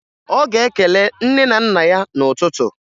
Ọ ga-ekele nne na nna ya n'ụtụtụ